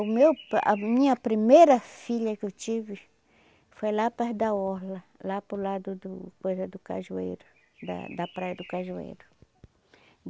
O meu a minha primeira filha que eu tive foi lá perto da orla, lá para o lado do coisa do Cajueiro, da da praia do Cajueiro.